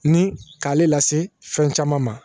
Ni k'ale lase fɛn caman ma